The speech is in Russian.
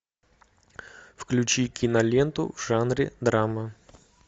включи киноленту в жанре драма